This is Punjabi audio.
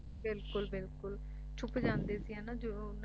ਬਿਲਕੁਲ ਬਿਲਕੁਲ ਛੁੱਪ ਜਾਂਦੇ ਸੀ ਹੈ ਨਾ ਜਦੋਂ ਉਨ੍ਹਾਂ